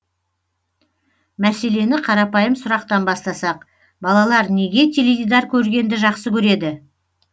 мәселені қарапайым сұрақтан бастасақ балалар неге теледидар көргенді жақсы көреді